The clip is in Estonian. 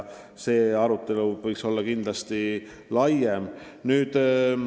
See arutelu võiks kindlasti laiem olla.